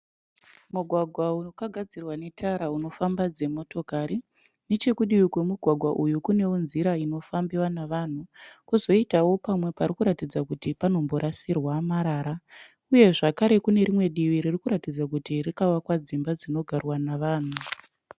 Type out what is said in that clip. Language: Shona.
Mugwagwa wakagadzirwa netara unofamba dzimotokari. Nechekudivi kwemugwagwa uyu kunewo nzira inofambiwa nevanhu. Kozoitawo pamwe parikuradza kuti panomborasirwa marara. Uyezvakare kune rimwe divi ririkuratidza kuti rakavakwa dzimba dzinogarwa nevanhu.